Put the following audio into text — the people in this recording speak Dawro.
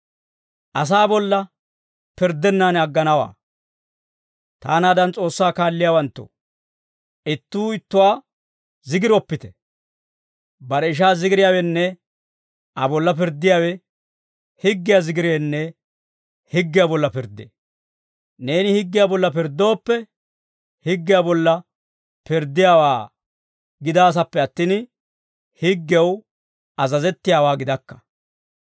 Taanaadan S'oossaa kaalliyaawanttoo, ittuu ittuwaa zigiroppite. Bare ishaa zigiriyaawenne Aa bolla pirddiyaawe higgiyaa zigireenne higgiyaa bolla pirddee. Neeni higgiyaa bolla pirddooppe, higgiyaa bolla pirddiyaawaa gidaasappe attin, higgew azazettiyaawaa gidakka.